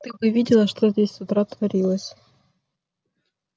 ты бы видела что здесь с утра творилось